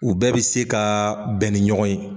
U bɛɛ bɛ se ka bɛn ni ɲɔgɔn ye.